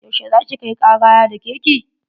Yau she za ki kai kara ya dake ki?